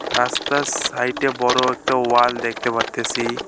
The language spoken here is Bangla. রাস্তার সাইট -এ বড় একটা ওয়াল দেখতে পারতেসি।